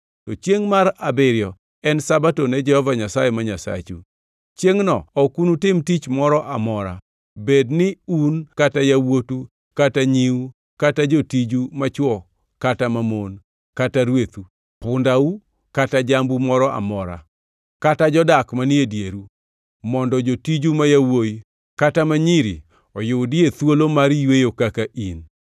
to chiengʼ mar abiriyo en Sabato ne Jehova Nyasaye ma Nyasachu. Chiengʼno ok unutim tich moro amora, bed ni un kata yawuotu kata nyiu kata jotiju machwo kata mamon, kata rwethu, pundau kata jambu moro amora, kata jodak manie dieru mondo jotiju ma yawuowi kata ma nyiri oyudie thuolo mar yweyo kaka in.